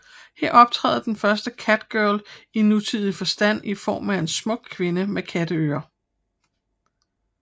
Her optræder den første catgirl i nutidig forstand i form af en smuk kvinde med katteører